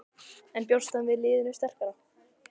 En bjóst hann við liðinu sterkara?